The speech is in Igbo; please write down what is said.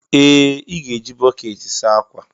Ee! Ị ga-eji bọkeeti saa ákwà.